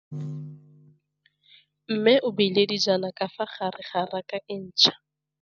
Mmê o beile dijana ka fa gare ga raka e ntšha.